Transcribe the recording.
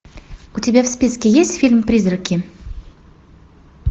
у тебя в списке есть фильм призраки